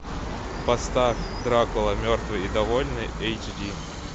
поставь дракула мертвый и довольный эйч ди